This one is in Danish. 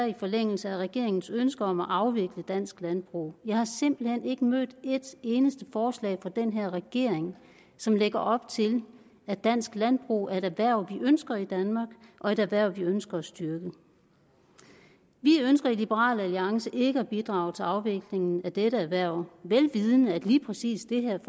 i forlængelse af regeringens ønske om at afvikle dansk landbrug jeg har simpelt hen ikke mødt et eneste forslag fra den her regering som lægger op til at dansk landbrug er et erhverv vi ønsker i danmark og et erhverv vi ønsker at styrke vi ønsker i liberal alliance ikke at bidrage til afviklingen af dette erhverv vel vidende at lige præcis det her